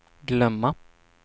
glömma